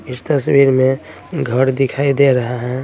इस तस्वीर में घड़ दिखाई दे रहा है।